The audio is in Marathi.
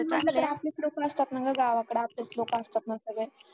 किती म्हंटल तरी आपलीच लोक असतात ना ग गावाकडं आपलेच लोक असतात ना ग सगळे